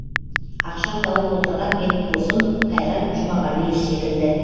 ақша тауып отырған менің досым қайрат жұмағалиев секілді